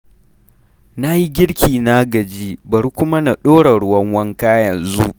Na yi girki na gaji, bari kuma na ɗora ruwan wanka yanzu.